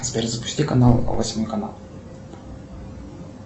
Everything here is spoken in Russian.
сбер запусти канал восьмой канал